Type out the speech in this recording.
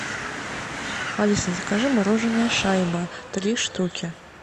алиса закажи мороженое шайба три штуки